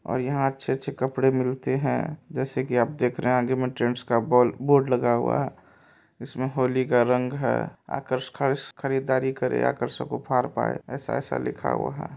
और यहाँ अच्छे अच्छे कपड़े मिलते है जैसा के आप देख रहे है आगे मे ट्रेंड्स का बो- बोर्ड लगा हुआ है इसमे होली का रंग है आकर खरीद खरीदारी करें आकर्षक उपहार पाए ऐसा ऐसा लिखा हुआ है।